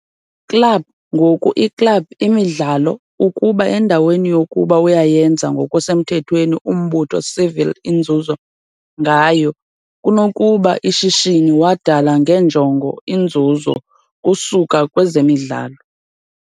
Club-ngoku i club imidlalo ukuba endaweni yokuba uyayenza ngokusemthethweni umbutho civil inzuzo, ngayo, kunokuba a ishishini wadala ngenjongo inzuzo kusuka kwezemidlalo.